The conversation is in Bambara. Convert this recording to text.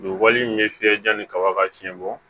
Nin wali in ye fiyɛ yanni kaba ka fiɲɛ bɔ